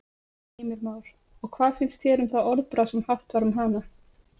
Heimir Már: Og hvað finnst þér um það orðbragð sem haft var um hana?